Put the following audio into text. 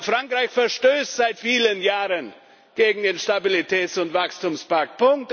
Frankreich verstößt seit vielen Jahren gegen den Stabilitäts und Wachstumspakt!